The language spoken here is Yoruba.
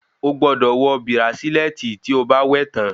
O gbọ́dọ̀ wọ bírácílẹ̀tì tí o bá wẹ̀ tán